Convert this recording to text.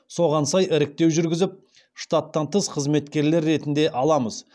соған сай іріктеу жүргізіп штаттан тыс қызметкерлер ретінде аламыз